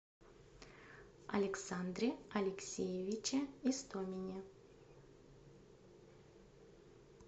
александре алексеевиче истомине